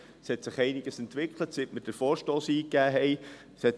Es hat sich einiges entwickelt, seit wir den Vorstoss eingegeben haben.